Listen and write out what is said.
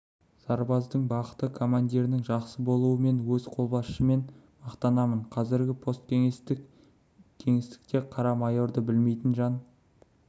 сарбаздың бақыты командирінің жақсы болуы мен өз қолбасшыммен мақтанамын қазір посткеңестік кеңістікте қара майорды білмейтін жан